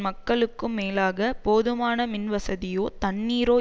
மக்களுக்கும் மேலாக போதுமான மின் வசதியோ தண்ணீரோ